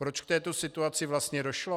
Proč k této situaci vlastně došlo?